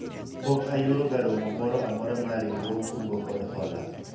pok ayuoro ga romo moro amora mar riwruog kungo kod hola